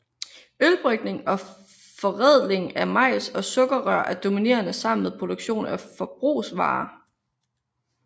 Ølbrygning og forædling af majs og sukkerrør er dominerende sammen med produktion af forbrugsvarer